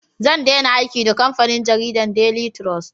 Zan dena aiki da kamfanin jaridan "daily trust"